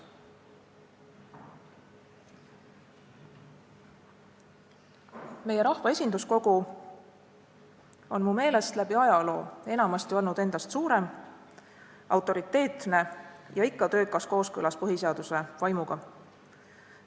Meie rahva esinduskogu on mu meelest läbi ajaloo enamasti olnud endast suurem, autoriteetne ja ikka töökas kooskõlas põhiseaduse vaimuga.